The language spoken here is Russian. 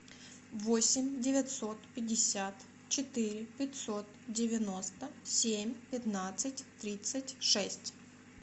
восемь девятьсот пятьдесят четыре пятьсот девяносто семь пятнадцать тридцать шесть